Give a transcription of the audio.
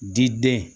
Diden